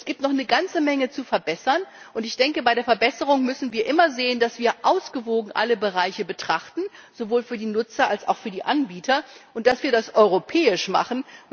Es gibt noch eine ganze Menge zu verbessern, und bei der Verbesserung müssen wir immer sehen, dass wir alle Bereiche ausgewogen betrachten, sowohl für die Nutzer als auch für die Anbieter, und dass wir das europäisch machen.